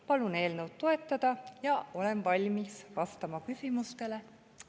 Palun eelnõu toetada ja olen valmis vastama küsimustele.